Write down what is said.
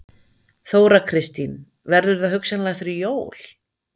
Þóra Kristín: Verður það hugsanlega fyrir jól?